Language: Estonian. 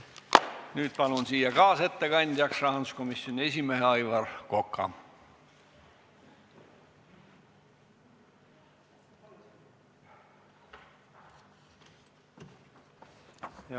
Nüüd palun siia kaasettekandjaks rahanduskomisjoni esimehe Aivar Koka!